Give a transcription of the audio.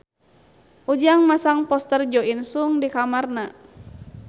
Ujang masang poster Jo In Sung di kamarna